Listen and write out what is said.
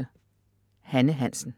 Hanne Hansen